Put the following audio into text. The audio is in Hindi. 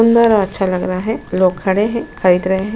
और अच्छा लग रहा है लोग खड़े हैं खरीद रहे हैं।